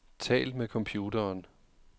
Tal med computeren.